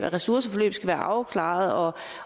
at ressourceforløbet skal være afklaret